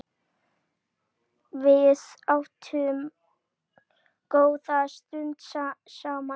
Við áttum góða stund saman.